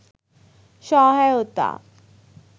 সহায়তা